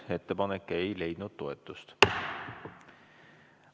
Ettepanek ei leidnud toetust.